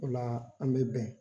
Ola an mi bɛn